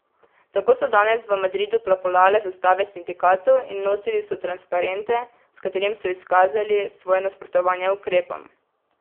Tako so danes v Madridu plapolale zastave sindikatov in nosili so transparente, s katerimi so izkazali svoje nasprotovanje ukrepom.